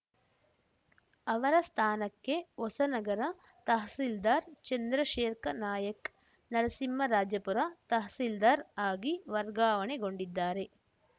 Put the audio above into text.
ಅವರ ಸ್ಥಾನಕ್ಕೆ ಹೊಸನಗರ ತಹಸೀಲ್ದಾರ್‌ ಚಂದ್ರಶೇಖರ್‌ ನಾಯಕ್‌ ನರಸಿಂಹರಾಜಪುರ ತಹಸೀಲ್ದಾರ್‌ ಆಗಿ ವರ್ಗಾವಣೆಗೊಂಡಿದ್ದಾರೆ